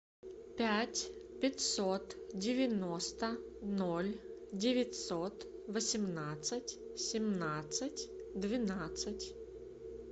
пять пятьсот девяносто ноль девятьсот восемнадцать семнадцать двенадцать